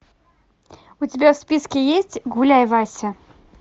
у тебя в списке есть гуляй вася